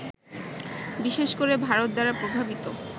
বিশেষ করে ভারত দ্বারা প্রভাবিত